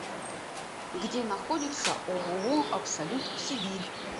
где находится ооо абсолют сибирь